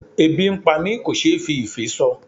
Ebi ń pá mi kò ṣe fí ìfé sọ.